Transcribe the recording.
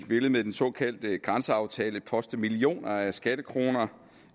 ville med den såkaldte grænseaftale poste millioner af skattekroner